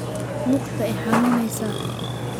Luugta iixanuneysa.